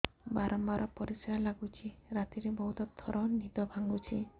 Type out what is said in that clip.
ବାରମ୍ବାର ପରିଶ୍ରା ଲାଗୁଚି ରାତିରେ ବହୁତ ଥର ନିଦ ଭାଙ୍ଗୁଛି